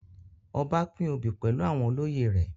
Ọba pín obi pẹlu àwọn olóyè rẹ